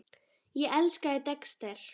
Ég elskaði Dexter.